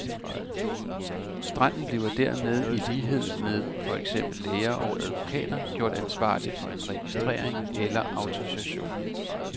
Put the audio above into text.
Standen bliver dermed i lighed med for eksempel læger og advokater gjort ansvarlig for en registrering eller autorisation.